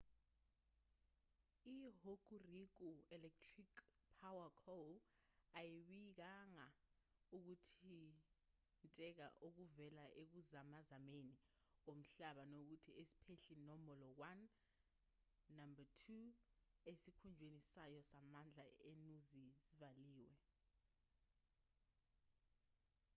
ihokuriku electric power co ayibikanga ukuthinteka okuvela ekuzamazameni komhlaba nokuthi isiphehli nombolo 1 no-2 esikhungweni sayo samandla enuzi zivaliwe